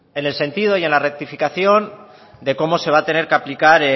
en el sentido y en la rectificación de cómo se va a tener que aplicar